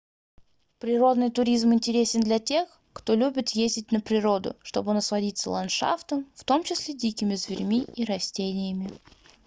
природный туризм интересен для тех кто любит ездить на природу чтобы насладиться ландшафтом в том числе дикими зверьми и растениями